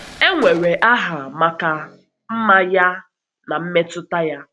E nwere aha maka mma ya na na mmepụta ya.